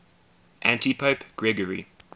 antipope gregory